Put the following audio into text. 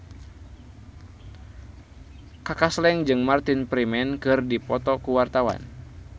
Kaka Slank jeung Martin Freeman keur dipoto ku wartawan